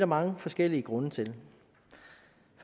mange forskellige grunde til